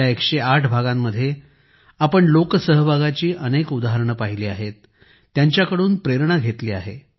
या 108 भागांमध्ये आपण लोकसहभागाची अनेक उदाहरणे पहिली आहेत त्यांच्याकडून प्रेरणा घेतली आहे